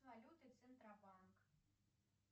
валюты центробанк